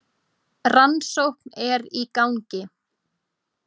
Rannsókn er í gangi.